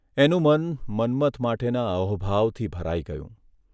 એનું મન મન્મથ માટેના અહોભાવથી ભરાઇ ગયું.